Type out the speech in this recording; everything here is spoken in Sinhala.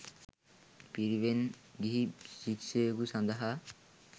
පිරිවෙන් ගිහි ශිෂ්‍යයකු සඳහා